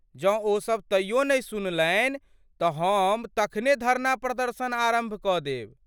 जँ ओसब तइयो नहि सुनलनि तँ हम तखने धरना प्रदर्शन आरम्भ कऽ देब।